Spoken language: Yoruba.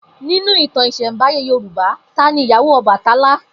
Ninu ìtàn ìsẹ̀nbáyé Yorùbá, ta ni ìyàwó Ọbàtálá?